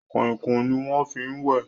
Kọ̀ìkọ̀ìn ni wọ́n fi ń wẹ̀